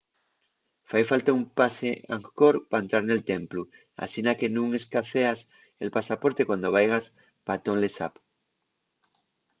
fai falta un pase angkor pa entrar nel templu asina que nun escaezas el pasaporte cuando vaigas pa tonle sap